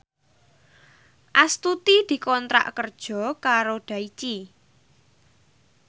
Astuti dikontrak kerja karo Daichi